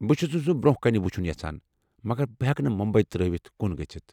بہٕ چھ سن سُہ برونہہ كٕنہِ وُچھن یژھان، مگر بہٕ ہٮ۪کہٕ نہٕ مُمبی ترٛٲوتھ کُن گٔژھتھ ۔